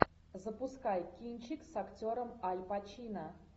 запускай кинчик с актером аль пачино